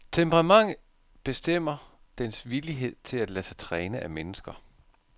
Temperamentet bestemmer dens villighed til at lade sig træne af mennesker.